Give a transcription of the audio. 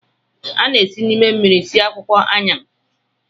A na-esi n'ime mmiri sie akwụkwọ Ayan